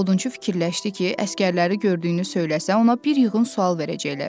Odunçu fikirləşdi ki, əsgərləri gördüyünü söyləsə, ona bir yığın sual verəcəklər.